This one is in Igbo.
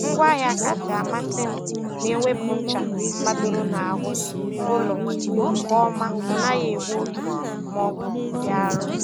Ngwaahịa kasị amasị m na - ewepụ ncha madoro n'ahụ ụlọ nke ọma ọ naghị egbu oge ma ọ bụ dị arọ.